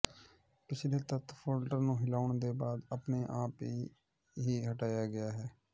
ਪਿਛਲੇ ਤੱਤ ਫੋਲਡਰ ਨੂੰ ਹਿਲਾਉਣ ਦੇ ਬਾਅਦ ਆਪਣੇ ਆਪ ਹੀ ਹਟਾਇਆ ਗਿਆ ਹੈ